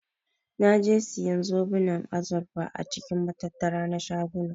Naje siyan zoben azurfa a cikin matattara na shaguna.